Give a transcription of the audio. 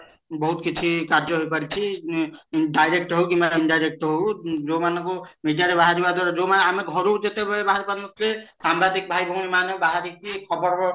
ବହୁତ କିଛି କାର୍ଯ୍ୟ ହେଇପାରିଛି ଉଁ direct ହଉ କି indirect ହଉ ଯୋଉମାନଙ୍କୁ media ରେ ବାହାରିବା ଦ୍ଵାରା ଯୋଉମାନେ ଆମେ ଘରୁ ଯେତେବେଳେ ବାହାରି ପାରୁନଥିଲେ ସାମ୍ବାଦିକ ଭାଇ ଭଉଣୀ ମାନେ ବାହାରିକି ଖବର